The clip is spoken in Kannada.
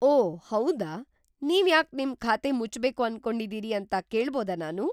ಓಹ್ ಹೌದಾ! ನೀವ್ಯಾಕ್‌ ನಿಮ್‌ ಖಾತೆ ಮುಚ್ಬೇಕು ಅನ್ಕೊಂಡಿದೀರಿ ಅಂತ ಕೇಳ್ಬೋದಾ ನಾನು?